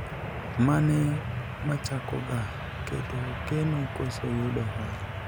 mane machako ga, keto keno koso yudo hola ?